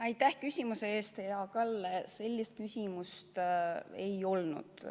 Aitäh küsimuse eest, hea Kalle!